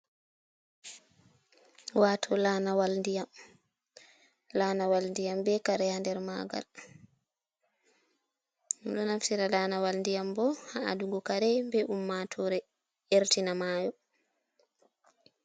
Wato laanawal ndiyam, laanawal ndiyam be kare ha nder magal. Min ɗo naftira laanawal ndiyam bo ha adugo kare be ummatore, ertina maayo.